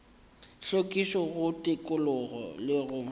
hlwekišo go tikologo le go